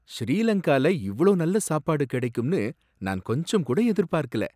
ஸ்ரீ லங்கால இவ்ளோ நல்ல சாப்பாடு கிடைக்கும்னு நான் கொஞ்சம் கூட எதிர்பார்க்கல!